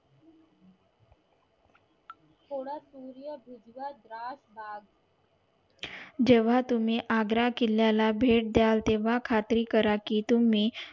जेव्हा तुम्ही आग्रा किल्ला ला भेट दयाल तेव्हा खात्री कराल कि तुम्ही